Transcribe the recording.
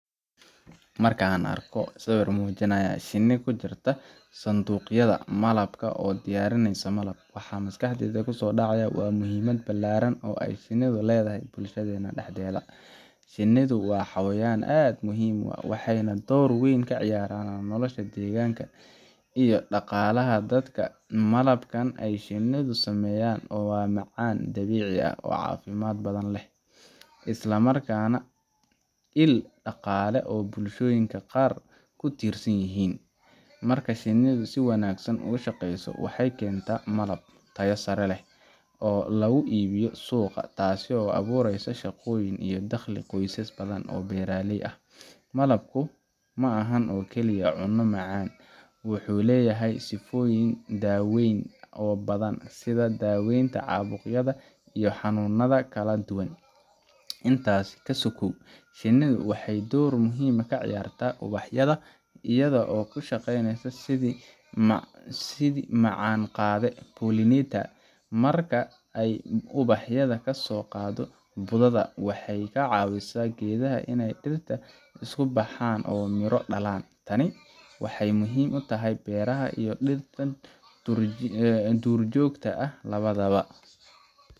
Marka an arko sawir mujinaya shini kujirta sanduqyada malabka oo diyarineyso malab waxa maskaxdeyda kusodaca wa muxiimad balaran oo shinida ledahay bulshadena daxdeda, shinidu wa hawayan aad muxiim u ah , waxayna door weyn kaqadataa gaar ahan nolosha deganka iyo daqalaha dadka, malabkan ay shinidu sameysan wa macan dabici ah oo cafimad badan leh, islamarkana il dalaqa oo bulshoyinka qaar kutirsanyixin, marka shinidu si wanagsan ugushageyso waxay kenta malab tayo saree leh, oo laguibiyo suqaa taasi oo awureyso ahagoyin iyo daqli badan oo beraley ah, malabku maaxan oo kaliye cuno macan, wuxu leyaxay sigoyin daweyn oo badan, sidha daweynta cabuqyada iyo hanunyada kaladuwan, intas kasogow shinidu waxay door muxiim ah kaciyarta ubahyada iyado oo kushageyneyso sidhi macan qadee pollinator marka ay ubahyada kasoqado ubahyada waxay kacawisaa geedaha inay dirta iskubahan oo miroo dalan, taani waxay muxiim utaxay beraha iyo dirta duur jogta ah lawadawa.